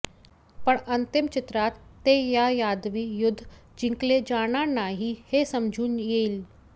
पण अंतिम चित्रात ते या यादवी युद्ध जिंकले जाणार नाही हे समजून येईल